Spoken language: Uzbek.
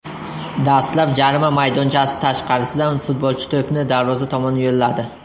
Dastlab jarima maydonchasi tashqarisidan futbolchi to‘pni darvoza tomon yo‘lladi.